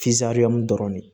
dɔrɔn de